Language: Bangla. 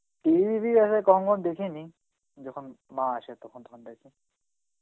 TV আসলে কমও দেখিনি যখন মা আসে তখন